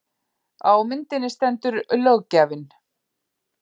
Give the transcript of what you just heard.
Á myndinni stendur löggjafinn